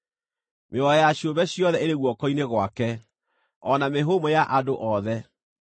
Mĩoyo ya ciũmbe ciothe ĩrĩ guoko-inĩ gwake, o na mĩhũmũ ya andũ othe.